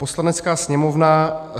"Poslanecká sněmovna